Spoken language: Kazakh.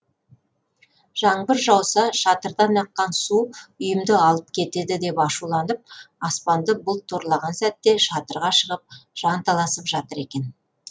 жаңбыр жауса шатырдан аққан су үйімді алып кетеді деп ашуланып аспанды бұлт торлаған сәтте шатырға шығып жанталасып жатыр екен